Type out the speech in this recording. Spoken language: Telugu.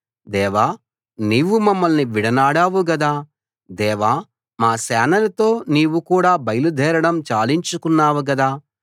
దేవా నీవు మమ్మల్ని విడనాడావు గదా దేవా మా సేనలతో నీవు కూడా బయలుదేరడం చాలించుకున్నావు గదా